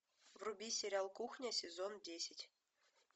вруби сериал кухня сезон десять